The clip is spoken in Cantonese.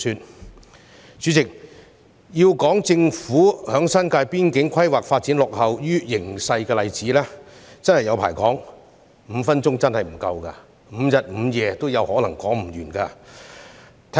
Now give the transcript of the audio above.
代理主席，要列舉政府在新界邊境規劃發展落後於形勢的例子，真的是不勝枚舉 ，5 分鐘發言時間真的不夠，可能5日5夜也說不完。